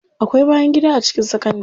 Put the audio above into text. Akwai bayangida a cikin sakandari.